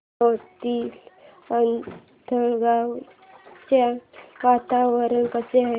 मोहाडीतील आंधळगाव चे वातावरण कसे आहे